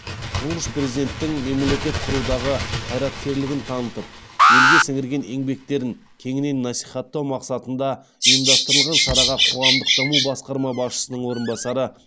тұңғыш президенттің мемлекет құрудағы қайраткерлігін танытып елге сіңірген еңбектерін кеңінен насихаттау мақсатында ұйымдастырылған шараға қоғамдық даму басқармасы басшысының орынбасары